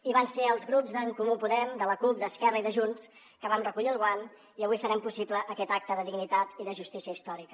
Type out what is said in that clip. i vam ser els grups d’en comú podem de la cup d’esquerra i de junts que vam recollir el guant i avui farem possible aquest acte de dignitat i de justícia històrica